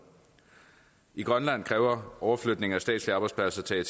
i grønland kræver overflytningen af statslige arbejdspladser til